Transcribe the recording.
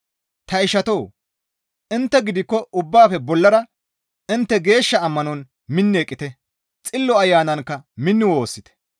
Ta ishatoo! Intte gidikko ubbaafe bollara intte geeshsha ammanon minni eqqite; Xillo Ayanankka minni woossite.